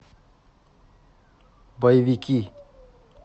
боевики